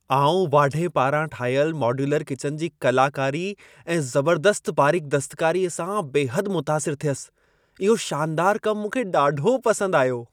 आउं वाढे पारां ठाहियल मॉड्यूलर किचन जी कलाकारी ऐं ज़बर्दस्त बारीक दस्तकारीअ सां बेहदि मुतासिरु थियसि। इहो शानदारु कमु मूंखे ॾाढो पसंदि आयो।